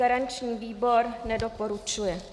Garanční výbor nedoporučuje.